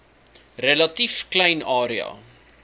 relatief klein area